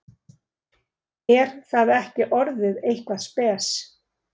Er það ekki orðið eitthvað spes?